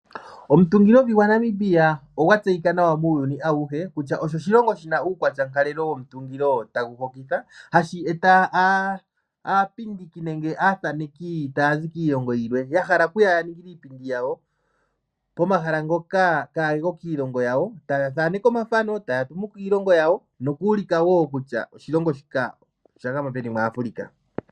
Omuntungilovi gwaNamibia ogwa tseyika nawa muuyuni awuhe kutya osho oshilongo shina uukwatyankalelo womutungilo tagu hokitha, hashi eta aapindiki nenge aathaneki yokondje yiilongo yahala yeye yaninge iipindi yawo pomahala ngoka kaage ko kiilonga yawo, taathaneke omathano ngono haa tumu kiilongo yawo nokuulika woo kutya oshilongo shika osha gama peni mwaAfrica.